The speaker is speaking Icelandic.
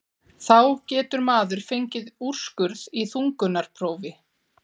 þá getur maður fengið úrskurð í þungunarprófi.